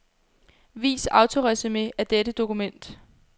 Vis autoresumé af dette dokument.